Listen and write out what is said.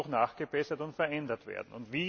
Hier muss noch nachgebessert und verändert werden.